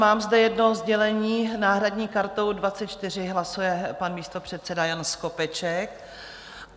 Mám zde jedno sdělení: náhradní kartou 24 hlasuje pan místopředseda Jan Skopeček.